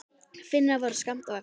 Finnar voru skammt á eftir.